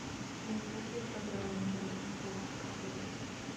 какие программы интересные в клубах проходят